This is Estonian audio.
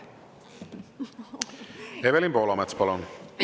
Evelin Poolamets, palun!